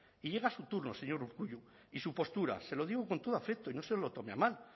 y llega a su turno señor urkullu y su postura se lo digo con todo afecto y no se lo tome a mal